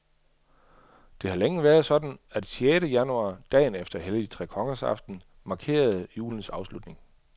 Det har længe været sådan, at sjette januar, dagen efter helligtrekongersaften, markerede julens afslutning.